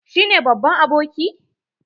Shi ne babban aboki?